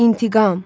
İntiqam!